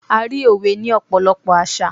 a rí òwe ni ọpọlọpọ àṣà